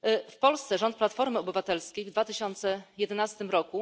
W Polsce rząd Platformy Obywatelskiej w 2011 r.